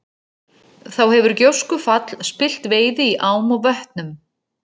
Þá hefur gjóskufall spillt veiði í ám og vötnum.